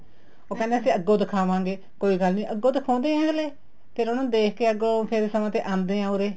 ਉਹ ਕਹਿੰਦੇ ਅਸੀਂ ਅੱਗੋ ਦਿਖਾਵਾਗੇ ਕੋਈ ਗੱਲ ਅੱਗੋ ਦਿਖਾਉਦੇ ਹੈ ਹਲੇ ਫ਼ੇਰ ਉਹਨਾ ਨੂੰ ਦੇਖਕੇ ਅੱਗੋ ਫ਼ੇਰ ਸਮੇ ਤੇ ਆਂਦੇ ਹੈ ਉਰੇ